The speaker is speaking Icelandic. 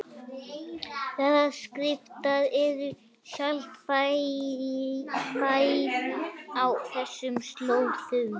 Jarðskjálftar eru sjaldgæfir á þessum slóðum